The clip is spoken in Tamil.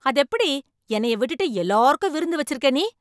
அதெப்படி என்னய விட்டுட்டு எல்லாருக்கும் விருந்து வச்சுருக்க நீ?